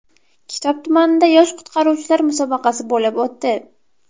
Kitob tumanida yosh qutqaruvchilar musobaqasi bo‘lib o‘tdi.